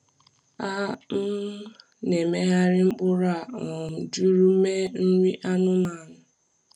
A um na-emegharị mkpụrụ a um jụrụ mee nri anụmanụ.